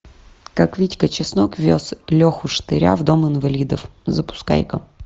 как витька чеснок вез леху штыря в дом инвалидов запускай ка